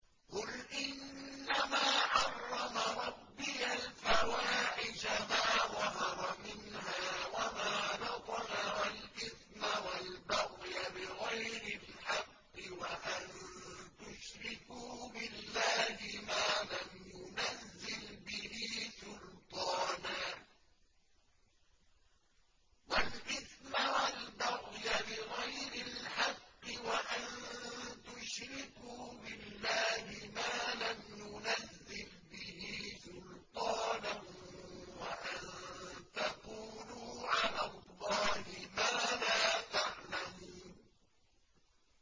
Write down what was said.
قُلْ إِنَّمَا حَرَّمَ رَبِّيَ الْفَوَاحِشَ مَا ظَهَرَ مِنْهَا وَمَا بَطَنَ وَالْإِثْمَ وَالْبَغْيَ بِغَيْرِ الْحَقِّ وَأَن تُشْرِكُوا بِاللَّهِ مَا لَمْ يُنَزِّلْ بِهِ سُلْطَانًا وَأَن تَقُولُوا عَلَى اللَّهِ مَا لَا تَعْلَمُونَ